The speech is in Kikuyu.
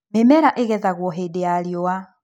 Mĩmera ĩgethagwo hĩndĩ ya riũa.